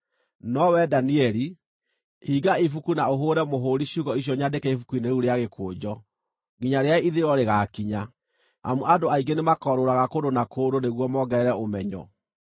No wee, Danieli, hinga ibuku na ũhũũre mũhũũri ciugo icio nyandĩke ibuku-inĩ rĩu rĩa gĩkũnjo, nginya rĩrĩa ithirĩro rĩgaakinya. Amu andũ aingĩ nĩmakorũũraga kũndũ na kũndũ nĩguo mongerere ũmenyo.”